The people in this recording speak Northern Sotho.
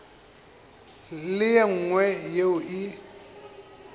le ye nngwe yeo e